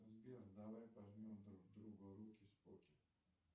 сбер давай пожмем друг другу руки споки